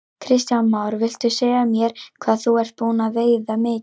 Kristján Már: Viltu segja mér hvað þú ert búinn að veiða mikið?